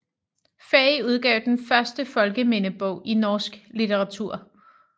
Faye udgav den første folkemindebog i norsk litteratur